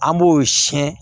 An b'o siyɛn